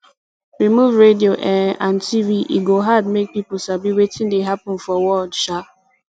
remove radio um and tv e go hard make people sabi wetin dey happen for world um